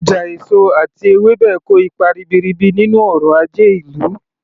Ọjà èso àti ewébẹ̀ kò ipa ribiribi nínú ọrọ̀ ajé ìlú